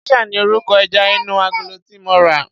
Geisha ni orúkọ ẹja inú agolo tí mo rà.